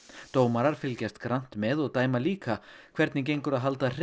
dómarar fylgjast grannt með og dæma líka hvernig gengur að halda hreinu